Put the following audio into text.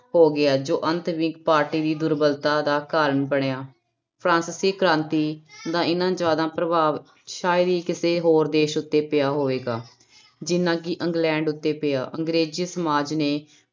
ਹੋ ਗਿਆ ਜੋ ਅੰਤ ਵਿਕ ਪਾਰਟੀ ਦੀ ਦੁਰਬਲਤਾ ਦਾ ਕਾਰਨ ਬਣਿਆ, ਫਰਾਂਸਿਸੀ ਕ੍ਰਾਂਤੀ ਦਾ ਇੰਨਾ ਜ਼ਿਆਦਾ ਪ੍ਰਭਾਵ ਸ਼ਾਇਦ ਹੀ ਕਿਸੇ ਹੋਰ ਦੇਸ ਉੱਤੇ ਪਿਆ ਹੋਵੇਗਾ ਜਿੰਨਾ ਕਿ ਇੰਗਲੈਂਡ ਉੱਤੇ ਪਿਆ, ਅੰਗਰੇਜ਼ੀ ਸਮਾਜ ਨੇ